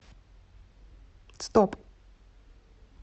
стоп